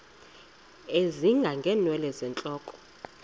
ezinga ngeenwele zentloko